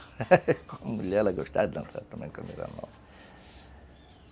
Com a mulher, ela gostava de dançar também,